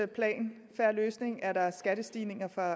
plan en fair løsning er der skattestigninger for